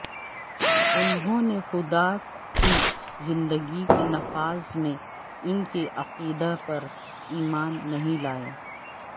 انہوں نے خدا کی زندگی کے نفاذ میں ان کے عقیدہ پر ایمان نہیں لائے